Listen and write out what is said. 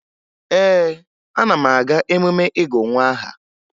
Ee, ana m aga emume ịgụ nwa aha